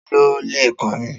Ta ló leè kọrin?